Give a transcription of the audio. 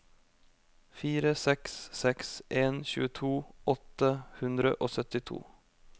fire seks seks en tjueto åtte hundre og syttito